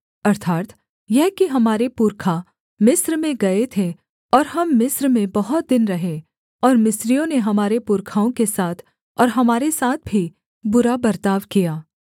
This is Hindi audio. अर्थात् यह कि हमारे पुरखा मिस्र में गए थे और हम मिस्र में बहुत दिन रहे और मिस्रियों ने हमारे पुरखाओं के साथ और हमारे साथ भी बुरा बर्ताव किया